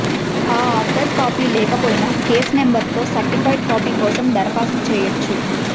ఆ order copy లేకపోయినా case నంబర్తో సర్టిఫైడ్ కాపీ కోసం దరఖాస్తు చేయొచ్చు